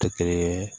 Tɛ kelen ye